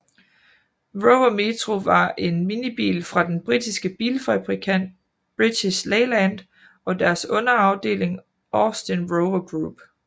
Rover Metro var en minibil fra den britiske bilfabrikant British Leyland og deres underafeling Austin Rover Group